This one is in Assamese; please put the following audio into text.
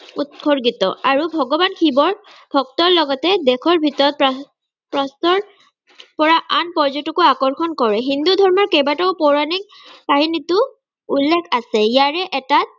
উত্সৰ্গিত, আৰু ভগবান শিৱৰ ভক্তৰ লগতে দেশৰ ভিতৰত পৰা আন পৰ্যতকো আকৰ্ষণ কৰে। হিন্দু ধৰ্ম কেইবাটাও পৌৰাণিক কাহিনীতো উল্লেখ আছে। ইয়াৰে এটা